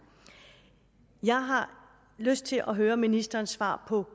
jeg har lyst til at høre ministerens svar på